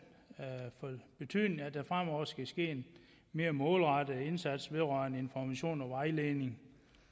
betydning at der fremover skal ske en mere målrettet indsats vedrørende information og vejledning